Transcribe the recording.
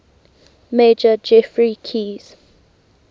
major geoffrey keyes